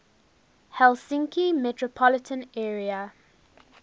helsinki metropolitan area